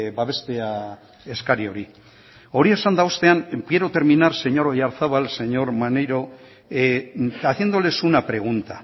babestea eskari hori hori esanda ostean quiero terminar señor oyarzabal señor maneiro haciéndoles una pregunta